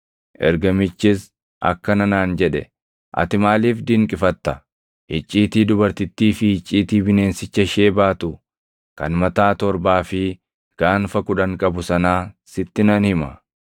Ergamichis akkana naan jedhe; “Ati maaliif dinqifatta? Icciitii dubartittii fi icciitii bineensicha ishee baatu kan mataa torbaa fi gaanfa kudhan qabu sanaa sitti nan hima.